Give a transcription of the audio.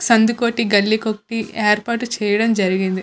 సందుకు ఒకటి గల్లీ కి ఒకటి ఏర్పాటు చేయటం జరిగింది.